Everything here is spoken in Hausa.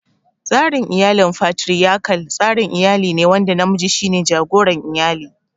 Tsarin iyalin Fatiriyakal, tsarin iyali ne wanda namiji shi ne jagoran iyali.